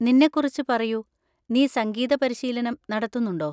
നിന്നേക്കുറിച്ച് പറയൂ; നീ സംഗീത പരിശീലനം നടത്തുന്നുണ്ടോ?